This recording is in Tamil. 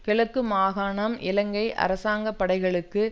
கிழக்கு மாகாணம் இலங்கை அரசாங்க படைகளுக்கும்